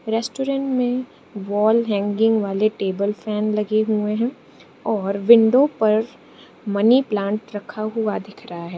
Restaurant में wall hanging वाले table fan लगे हुए हैं और विंडो पर मनी प्लांट रखा हुआ दिख रहा है।